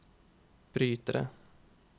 brytere